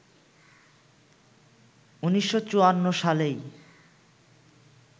১৯৫৪ সালেই